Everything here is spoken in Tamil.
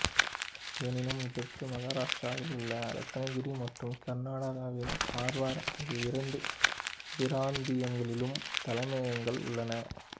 எனினும் இதற்கு மஹாராஸ்டிராவில் உள்ள ரத்னகிரி மற்றும் கர்நாடகாவின் கர்வார் ஆகிய இரண்டு பிராந்தியங்களிலும் தலைமையகங்கள் உள்ளன